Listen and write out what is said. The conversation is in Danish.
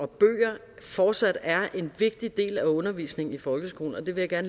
bøger fortsat er en vigtig del af undervisningen i folkeskolen og det vil jeg